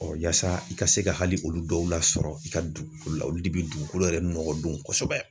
yaasa i ka se ka hali olu dɔw lasɔrɔ i ka dugukolo la olu de bɛ dugukolo yɛrɛ nɔgɔ don kosɛbɛ.